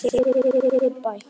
Fáið þið ykkar bætt.